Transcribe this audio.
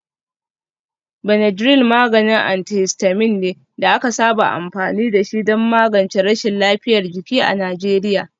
Benadryl maganin antihistamine ne da aka saba amfani da shi don magance rashin lafiyar jiki a Najeriya.